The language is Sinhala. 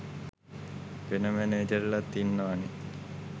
වෙන මැනේජර්ලත් ඉන්නවනේ